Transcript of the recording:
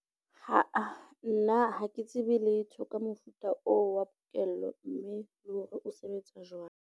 Aa nna ha ke tsebe letho ka mofuta oo wa pokello, mme le hore o sebetsa jwang.